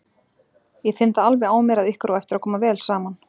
Ég finn það alveg á mér að ykkur á eftir að koma vel saman!